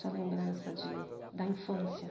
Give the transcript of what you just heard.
Sua lembrança de da infância.